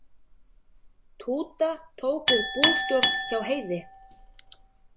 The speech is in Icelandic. Túta tók við bústjórn hjá Heiði.